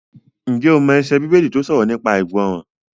Ǹjẹ́ o mọ ẹsẹ Bíbélì tó sọ̀rọ̀ nípa ìgbọràn?